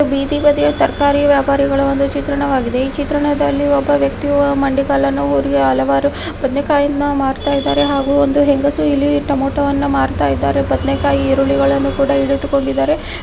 ಇದು ಬೀದಿ ಬದಿಯ ತರಕಾರಿ ವ್ಯಾಪಾರಿಗಳ ಒಂದು ಚಿತ್ರಣವಾಗಿದೆ. ಈ ಚಿತ್ರಣದಲ್ಲಿ ಒಬ್ಬ ವ್ಯಕ್ತಿ ಮಂಡಿಗಾಲನು ಊರಿ ಹಲವಾರು ಬದನೆಕಾಯಿಯನ್ನು ಮಾರುತ್ತಿದ್ದಾರೆ ಹಾಗೂ ಒಂದು ಹೆಂಗಸು ಇಲ್ಲಿ ಟಮೋಟವನ್ನು ಮಾರುತ್ತಿದ್ದಾರೆ. ಬದನೆಕಾಯಿ ಈರುಳ್ಳಿಗಳನ್ನು ಕೂಡ ಇಟ್ಟುಕೊಂಡಿದ್ದಾರೆ.